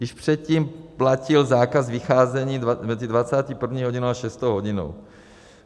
Již předtím platil zákaz vycházení mezi 21. hodinou a 6. hodinou.